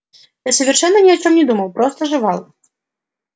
я совершенно ни о чём не думал просто жевал